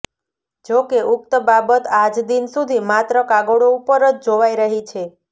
જોકે ઉકત બાબત આજદિન સુધી માત્ર કાગળો ઉપર જ જોવાઇ રહી છે